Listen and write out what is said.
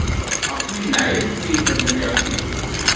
ਆਪਣੀ life ਵੀ ਬੰਦੇ ਦੇ ਆਪਣੇ ਹਥ ਚ ਹੈ